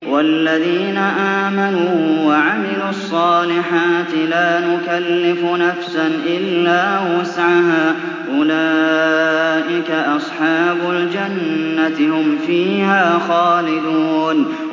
وَالَّذِينَ آمَنُوا وَعَمِلُوا الصَّالِحَاتِ لَا نُكَلِّفُ نَفْسًا إِلَّا وُسْعَهَا أُولَٰئِكَ أَصْحَابُ الْجَنَّةِ ۖ هُمْ فِيهَا خَالِدُونَ